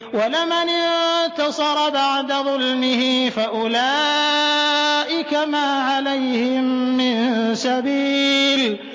وَلَمَنِ انتَصَرَ بَعْدَ ظُلْمِهِ فَأُولَٰئِكَ مَا عَلَيْهِم مِّن سَبِيلٍ